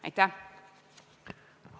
Aitäh!